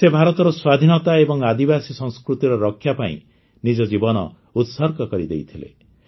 ସେ ଭାରତର ସ୍ୱାଧୀନତା ଏବଂ ଆଦିବାସୀ ସଂସ୍କୃତିର ରକ୍ଷା ପାଇଁ ନିଜ ଜୀବନ ଉତ୍ସର୍ଗ କରିଦେଇଥିଲେ